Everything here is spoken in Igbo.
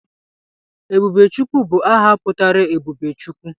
Ebubechukwu bụ aha pụtara 'Ebube Chukwu'